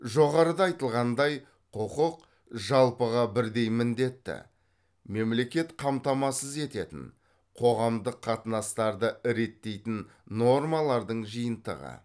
жоғарыда айтылғандай құқық жалпыға бірдей міндетті мемлекет қамтамасыз ететін қоғамдық қатынастарды реттейтін нормалардың жиынтығы